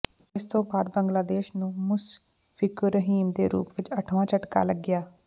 ਇਸ ਤੋਂ ਬਾਅਦ ਬੰਗਲਾਦੇਸ਼ ਨੂੰ ਮੁਸ਼ਫਿਕੁਰ ਰਹੀਮ ਦੇ ਰੂਪ ਵਿੱਚ ਅੱਠਵਾਂ ਝਟਕਾ ਲੱਗਿਆ